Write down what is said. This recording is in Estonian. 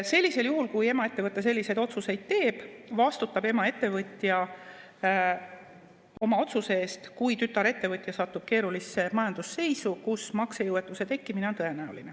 Sellisel juhul, kui emaettevõte selliseid otsuseid teeb, vastutab emaettevõtja oma otsuse eest, kui tütarettevõtja satub keerulisse majandusseisu, kus maksejõuetuse tekkimine on tõenäoline.